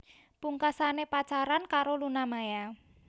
Pungkasane pacaran karo Luna Maya